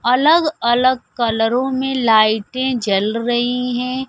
अलग अलग कलरों में लाइटें जल रही हैं।